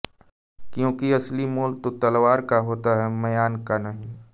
क्योंकि असली मोल तो तलवार का होता है म्यान का नहीं